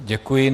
Děkuji.